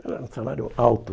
Ele era um salário alto.